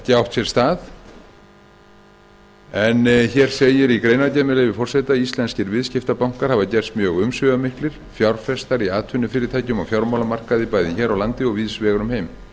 sér stað en hér segir í greinargerðinni með leyfi forseta íslenskir viðskiptabankar hafa gerst mjög umsvifamiklir fjárfestar í atvinnufyrirtækjum og á fjármálamarkaði bæði hér á landi og víðs vegar um heim